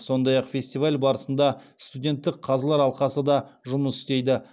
сондай ақ фестиваль барысында студенттік қазылар алқасы да жұмыс істейді